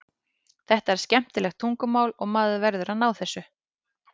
Þetta er skemmtilegt tungumál og maður verður að ná þessu.